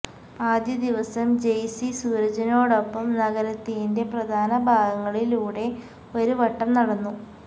ആദ്യദിവസം ജെയ്സി സൂരജിനോടൊപ്പം നഗരത്തിന്റെ പ്രധാന ഭാഗങ്ങളിലൂടെ ഒരു വട്ടം നടന്നു